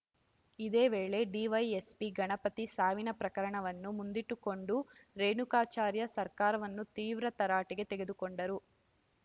ಇದೇ ವೇಳೆ ಡಿವೈಎಸ್ಪಿ ಗಣಪತಿ ಸಾವಿನ ಪ್ರಕರಣವನ್ನು ಮುಂದಿಟ್ಟುಕೊಂಡೂ ರೇಣುಕಾಚಾರ್ಯ ಸರ್ಕಾರವನ್ನು ತೀವ್ರ ತರಾಟೆಗೆ ತೆಗೆದುಕೊಂಡರು